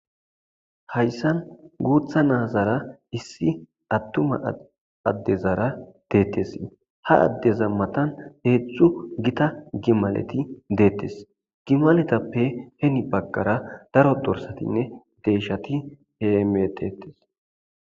Hayisani gutha na'azara adezara bettesi. Ha addeza mattani gitta gimaleyi bettesi gimaletappe hini baggara daro dorisatine deshati betesi.